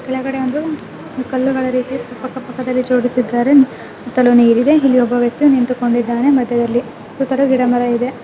ಕೆಳಗಡೆ ಒಂದು ಕಲ್ಲುಗಳ ರೀತಿ ಪಕ್ಕ ಪಕ್ಕದಲ್ಲಿ ಜೋಡಿಸಿದ್ದಾರೆ ಸುತ್ತಲೂ ನೀರಿದೆ ಹಿಂದೆ ಒಬ್ಬ ವ್ಯಕ್ತಿ ನಿಂತುಕೊಂಡಿದ್ದಾನೆ ಮದ್ಯದಲ್ಲಿ ಸುತಲ್ಲೂ ಗಿಡ ಮರವಿದೆ .